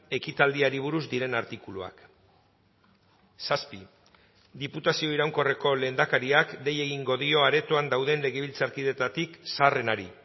ekitaldiari buruz diren artikuluak zazpi diputazio iraunkorreko lehendakariak dei egingo dio aretoan dauden legebiltzarkideetatik zaharrenari